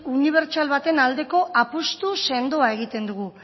unibertsal baten aldeko apustu sendoa egiten dugu